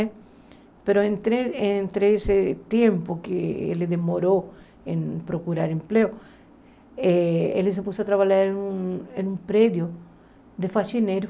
Mas entre entre esse tempo que ele demorou em procurar emprego, eh ele se pôs a trabalhar em um prédio de faxineiro.